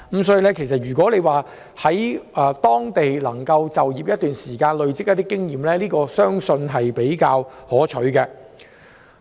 所以，如果能夠在當地就業一段時間，累積經驗，然後才創業，相信這做法會比較可取。